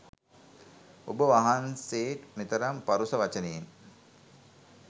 ඔබ වහන්සේට් මෙතරම් පරුෂ වචනයෙන්